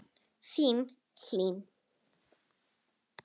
Þín, Hlín.